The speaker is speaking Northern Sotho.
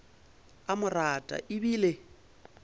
a mo rata e bile